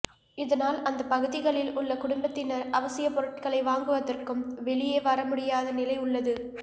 இதனால் அந்த பகுதிகளில் உள்ள குடும்பத்தினர் அவசிய பொருட்களை வாங்குவதற்கும் வெளியே வர முடியாத நிலை உள்ளது